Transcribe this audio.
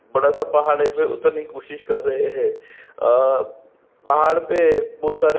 बड़ा-सा पहाड़ है इसमे उतरने की कोशिश कर रहे है अ पहाड़ पे बहुत सारे --